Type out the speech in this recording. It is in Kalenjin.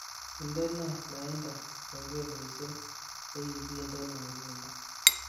Indene lainda kengeleshek chegigindeno nguno